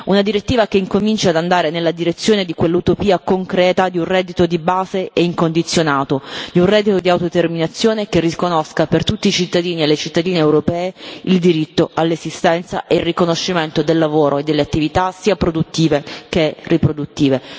Occorre una direttiva che incominci ad andare nella direzione di quell'utopia concreta di un reddito di base e incondizionato, di un reddito di autodeterminazione che riconosca a tutti i cittadini e le cittadine europee il diritto all'esistenza e il riconoscimento del lavoro e delle attività sia produttive che riproduttive.